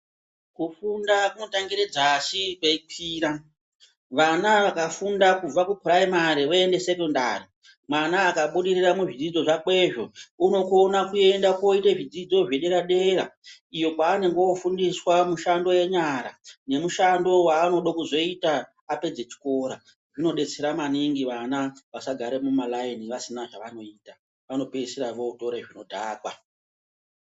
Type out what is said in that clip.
Kufunda kunotangire dzasi kweikwira. Vana vakafunda kubva kupuraimari voende sekondari, mwana akabudirira muzvidzidzo zvakwezvo, unokona kuenda koite zvidzidzo zvedera-dera iyo kwaanenge ofundiswa mushando yenyara nemushando waanodo kuzoita apedze chikora. Zvinodetsera maningi vana vasagare mumalaini vasina zvavanoita, vanopedzisira votore zvinodhakwa.